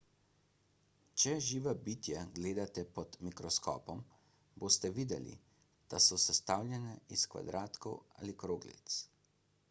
če živa bitja gledate pod mikroskopom boste videli da so sestavljena iz kvadratkov ali kroglic